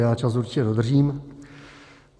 Já čas určitě dodržím.